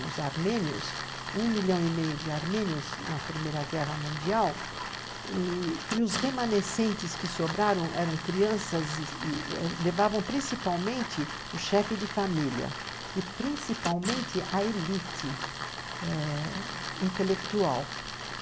os armênios, um milhão e meio de armênios na Primeira Guerra Mundial, e os remanescentes que sobraram eram crianças e e levavam principalmente o chefe de família e principalmente a elite eh intelectual.